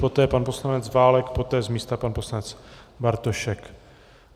Poté pan poslanec Válek, poté z místa pan poslanec Bartošek.